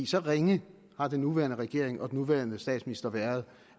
så ringe har den nuværende regering og den nuværende statsminister været